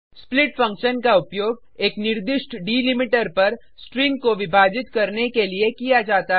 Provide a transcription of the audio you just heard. split function का उपयोग एक निर्दिष्ट डिलिमीटर पर स्ट्रिंग को विभाजित करने के लिए किया जाता है